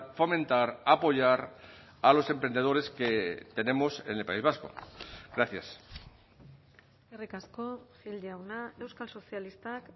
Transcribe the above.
fomentar apoyar a los emprendedores que tenemos en el país vasco gracias eskerrik asko gil jauna euskal sozialistak